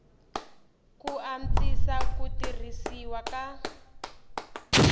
ku antswisa ku tirhisiwa ka